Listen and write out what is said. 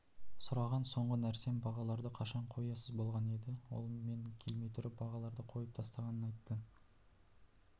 сұраған соңғы нәрсем бағаларды қашан қоясыз болған еді ол мен келмей тұрып бағаларды қойып тастағанын айтты